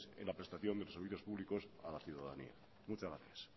en la prestación de los servicios públicos a la ciudadanía muchas gracias